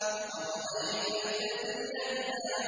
أَرَأَيْتَ الَّذِي يَنْهَىٰ